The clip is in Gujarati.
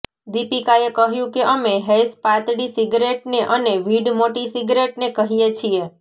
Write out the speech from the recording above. દીપિકાએ કહ્યું કે અમે હૈશ પાતળી સિગરેટને અને વીડ મોટી સિગરેટને કહીએ છીએ